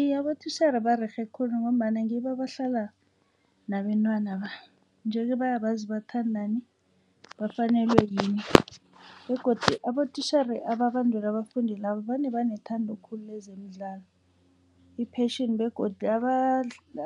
Iye, abotitjhere barerhe khulu khona ngombana ngibo abahlala nabentwanaba. Nje-ke baya bazi bathandani bafanelwe yini begodu abotitjhere ababandula abafundi labo vane banethando khulu lezemidlalo i-passion begodu